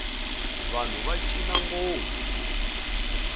vanhu va cina ngopfu